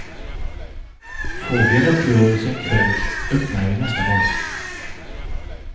Får vi en uppgörelse en kväll öppnar vi nästa morgon.